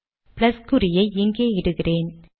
plus குறியை இங்கே இடுகிறேன்